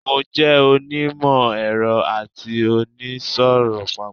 I'm both an engineer and a trader.